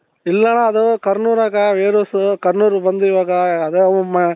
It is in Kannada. ಇಲ್ಲಾಣ್ಣ ಅದು ಕರ್ನೂಲ್ ಆಗ warehouse ಕರ್ನೂಲ್ ಬಂದು ಇವಾಗ ಅದೇ ಉಮ್ಮ್